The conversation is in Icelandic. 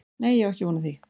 Nei ég á ekki von á því.